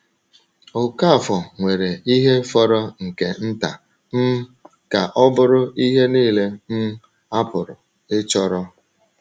Okafor nwere ihe fọrọ nke nta um ka ọ bụrụ ihe niile um a pụrụ ịchọrọ.